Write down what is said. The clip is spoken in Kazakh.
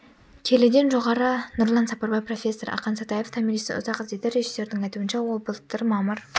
келіден жоғары нұрлан сапарбай профессор ақан сатаев томиристі ұзақ іздеді режиссердің айтуынша ол былтыр мамыр